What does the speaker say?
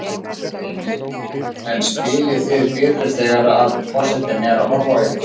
Heimir: En spilið þið betur þegar að forsetinn er að horfa á ykkur?